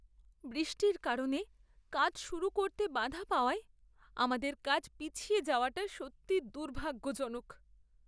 বৃষ্টির কারণে কাজ শুরু করতে বাধা পাওয়ায় আমাদের কাজ পিছিয়ে যাওয়াটা সত্যিই দুর্ভাগ্যজনক।